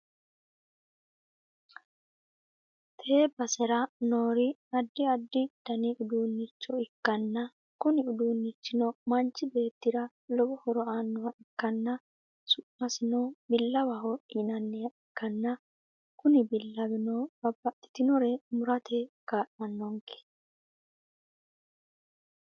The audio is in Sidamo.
tee basera noori addi addi dani uduunnicho ikkanna, kuni uduunnichino manchu beettira lowo hooro aannoha ikkana, su'masino billawaho yinanniha ikkanna, kuni billawino babbaxxinore murate kaa'lannonke.